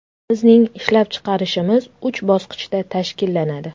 Bizning ishlab chiqarishimiz uch bosqichda tashkillanadi.